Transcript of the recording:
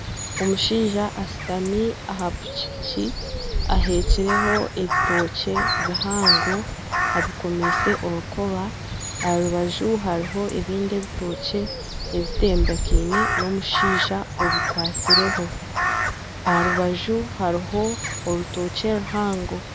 Omushaija ashutami aha piki piki aheekireho ebitookye bihango abikomise orukoba aha rubaju hariho ebindi ebitookye ebiteebekine n'omushaija obikwatsireho aha rubaju hariho orutookye ruhango.